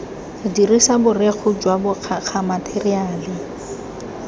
dirisa borekhu jwa bokgakga matheriale